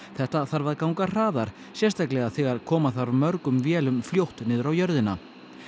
þetta þarf ganga hraðar sérstaklega þegar koma þarf mörgum vélum fljótt niður á jörðina